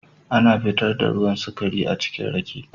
Ana fitar da ruwan sukari achikin Rake.